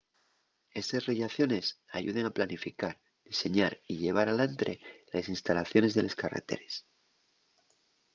estes rellaciones ayuden a planificar diseñar y llevar alantre les instalaciones de les carreteres